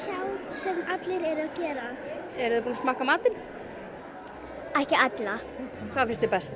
sem allir eru að gera eru þið búnar að smakka matinn ekki allan hvað finnst þér best